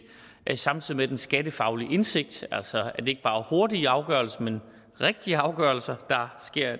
samtidig med at den skattefaglige indsigt altså at det ikke er hurtigere afgørelser men rigtige afgørelser